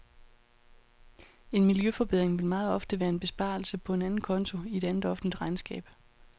En miljøforbedring vil meget ofte være en besparelse på en anden konto i et andet offentligt regnskab.